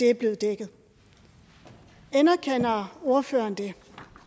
er blevet dækket anerkender ordføreren det